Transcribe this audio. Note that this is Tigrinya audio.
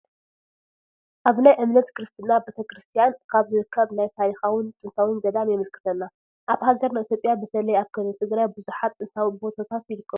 ኣብ ናይ እምነት ክርስትና ቤተክርስትያን ካብ ዝርከብ ናይ ታሪኻውን ጥንታውን ገዳም የመልክተና፡፡ ኣብ ሃገርና ኢ/ያ በተለይ ኣብ ክልል ትግራይ ቡዙሓት ጥንታዊ ቦታት ይርከቡ፡፡